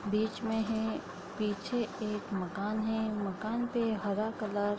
बीच में है पीछे एक मकान है मकान पे हरा कलर --